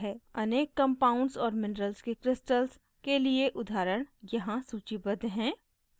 अनेक compounds और minerals के crystals के लिए उदाहरण यहाँ सूचीबद्ध हैं